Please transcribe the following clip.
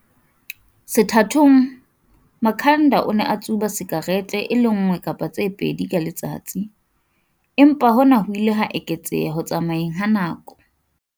Sethathong, Makhanda o ne a tsuba sikarete e le nngwe kapa tse pedi ka letsatsi, empa hona ho ile ha eketseha ho tsamayeng ha nako.